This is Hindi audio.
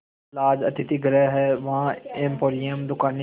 लॉज अतिथिगृह हैं वहाँ एम्पोरियम दुकानें